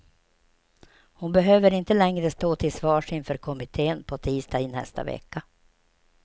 Hon behöver inte längre stå till svars inför kommittén på tisdag i nästa vecka.